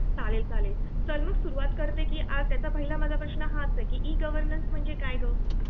चालेल चालेल, चल मग सुरूवात करते की आजचा माझा पहिला प्रश्न हाच आहे की ई -गवर्नन्स म्हणजे काय ग ?